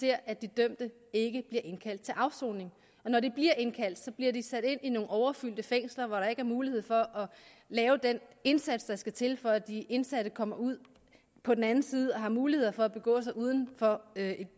vi at de dømte ikke bliver indkaldt til afsoning og når de bliver indkaldt bliver de sat i nogle overfyldte fængsler hvor der ikke er mulighed for at lave den indsats der skal til for at de indsatte kommer ud på den anden side og har mulighed for at begå sig uden for det